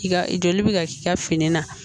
I ka joli bɛ ka k'i ka fini na